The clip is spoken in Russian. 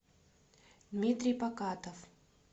дмитрий покатов